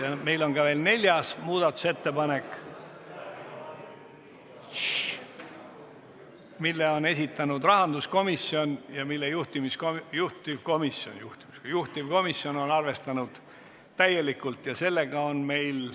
Aga meil on ka veel neljas muudatusettepanek, mille on esitanud rahanduskomisjon ja mida juhtivkomisjon on arvestanud täielikult.